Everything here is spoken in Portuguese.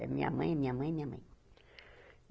É minha mãe, minha mãe, minha mãe.